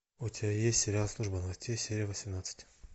у тебя есть сериал служба новостей серия восемнадцать